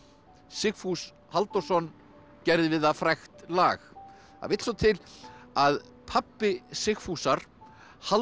Sigfús Halldórsson gerði við það frægt lag það vill svo til að pabbi Sigfúsar Halldór